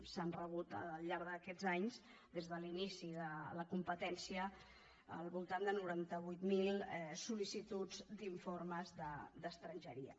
s’han rebut al llarg d’aquests anys des de l’inici de la competència al voltant de noranta vuit mil sold’informes d’estrangeria